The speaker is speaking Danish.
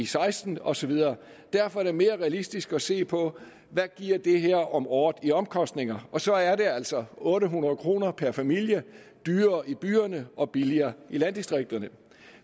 seksten og så videre derfor er det mere realistisk at se på hvad det giver om året i omkostninger og så er det altså otte hundrede kroner per familie dyrere i byerne og billigere i landdistrikterne